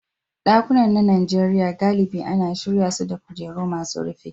Ɗakunan na Najeriya galibi ana shirya su da kujeru masu rufi.